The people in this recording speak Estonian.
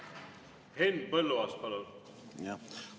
Henn Põlluaas, palun!